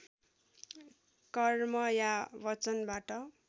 कर्म या वचनबाट